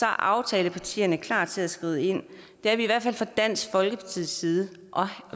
aftalepartierne klar til at skride ind det er vi i hvert fald fra dansk folkepartis side